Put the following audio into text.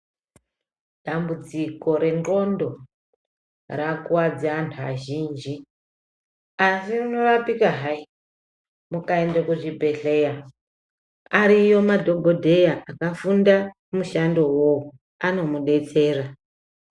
Dambudziko renclondo rakuwadze antu azhinji asi rinorapika hai mukaende kuzvibhehleya ariyo madhokodheya akafunda mushando iwowo anomudetsera.